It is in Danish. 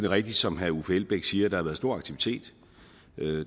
rigtigt som herre uffe elbæk siger at der har været stor aktivitet